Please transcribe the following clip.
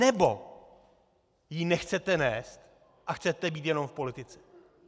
Nebo ji nechcete nést a chcete být jenom v politice?